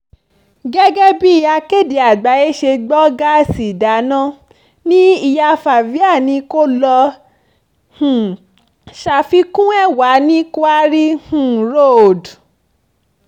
gẹ́gẹ́ bí akéde àgbáyé ṣe gbọ́ gáàsì ìdáná ní ìyá favia ni kó lọ́ọ́ um ṣàfikún ẹ̀ wà ní quarry um road